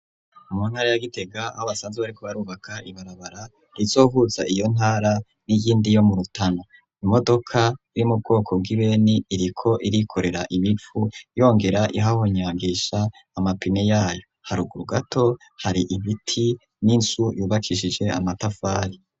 Umuntara yagitega habasanze wariko barubaka ibarabara rizovuza iyo ntara n'iyindi yo mu rutano imodoka riri mu bwoko bw'ibeni iriko irikorera imipfu yongera ihahonyangisha amapine yayo, haruguru gato hari imiti n'insu yubakishije amatafari.